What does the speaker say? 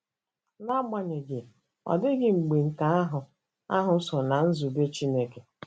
Na agbanyeghị, ọ dịghị mgbe nke ahụ ahụ so ná nzube Chineke.